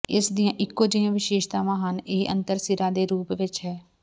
ਇਸ ਦੀਆਂ ਇਕੋ ਜਿਹੀਆਂ ਵਿਸ਼ੇਸ਼ਤਾਵਾਂ ਹਨ ਇਹ ਅੰਤਰ ਸਿਰਾਂ ਦੇ ਰੂਪ ਵਿਚ ਹੈ